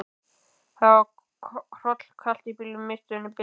Það var hrollkalt í bílnum, miðstöðin biluð.